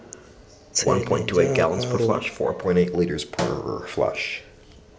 tshele jaaka rona metsing ele